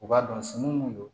U b'a dɔn sin mun do